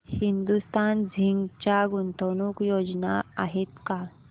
Hindustan zinc च्या गुंतवणूक योजना आहेत का